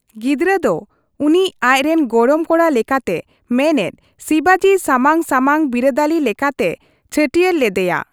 ᱜᱤᱫᱽᱨᱟᱹ ᱫᱚ ᱩᱱᱤ ᱟᱪ ᱨᱮᱱ ᱜᱚᱲᱚᱢ ᱠᱚᱲᱟ ᱞᱮᱠᱟᱛᱮ, ᱢᱮᱱᱮᱫ, ᱥᱤᱵᱟᱡᱤ ᱥᱟᱢᱟᱝ ᱥᱟᱢᱟᱝ ᱵᱤᱨᱟᱹᱫᱟᱹᱞᱤ ᱞᱮᱠᱟᱛᱮ ᱪᱷᱟᱹᱴᱭᱟᱹᱨ ᱞᱮᱫᱮᱭᱟ ᱾